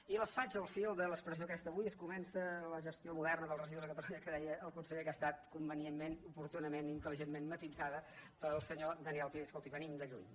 i les faig al fil de l’expres·sió aquesta avui es comença la gestió moderna dels residus a catalunya que deia el conseller que ha estat convenientment oportunament i intel·ligentment mati·sada pel senyor daniel pi de dir escolti venim de lluny